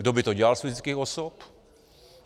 Kdo by to dělal z fyzických osob?